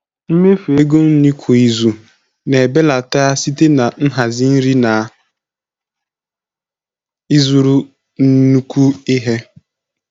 Mmefu ego nri kwa izu na-ebelata site na nhazi nri na ịzụrụ nnukwu ihe.